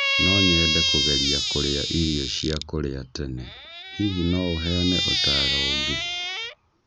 No nyende kũgeria kũrĩa irio cia kũrĩa tene, hihi no ũheane ũtaaro ũngĩ